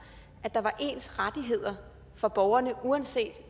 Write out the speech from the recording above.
at der er ens rettigheder for borgerne uanset